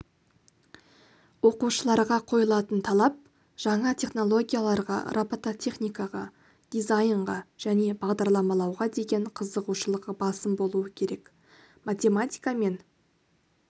оқушыларға қойылатын талап жаңа технологияларға робототехникаға дизайнға және бағдарламалауға деген қызығушылығы басым болуы керек математика мен